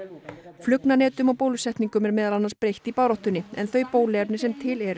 flugnanetum og bólusetningum er meðal annars beitt í baráttunni en þau bóluefni sem til eru